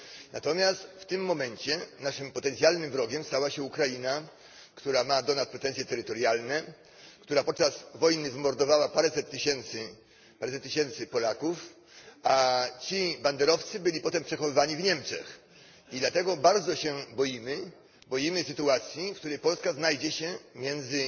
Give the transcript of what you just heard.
Natomiast w tym momencie naszym potencjalnym wrogiem stała się Ukraina, która ma do nas pretensje terytorialne, która podczas wojny wymordowała paręset tysięcy Polaków, a ci banderowcy byli potem przechowywani w Niemczech, i dlatego bardzo się boimy sytuacji, w której Polska znajdzie się między